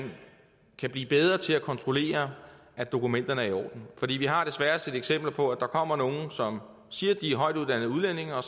kan blive bedre til at kontrollere at dokumenterne er i orden for vi har desværre set eksempler på at der kommer nogle som siger at de er højtuddannede udlændinge og